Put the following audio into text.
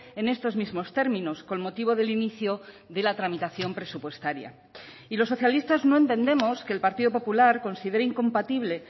en estos mismos términos con motivo del inicio de la tramitación presupuestaria y los socialistas no entendemos que el partido popular considere incompatible